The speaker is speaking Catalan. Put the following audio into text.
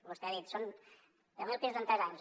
vostè ha dit són deu mil pisos en tres anys